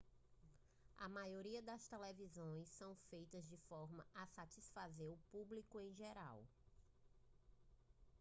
a maioria das televisões são feitas de forma a satisfazer o público em geral